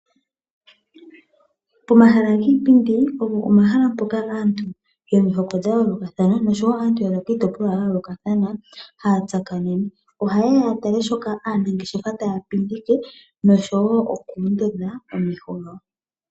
Pomahala giipindi opo omahala mpoka aantu yomihoko dha yoolokathana noshowo aantu ya za kiitopolwa ya yoolokathana haya tsakanene. Oha yeya ya tale shoka aanangeshefa taya pindike, noshowo oku ondodha omesho gawo.